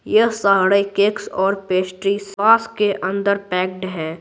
यह सारे केक्स और पेस्ट्री सॉस के अंदर पैक्ड है।